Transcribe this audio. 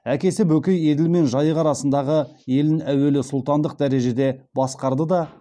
әкесі бөкей еділ мен жайық арасындағы елін әуелі сұлтандық дәрежеде басқарады да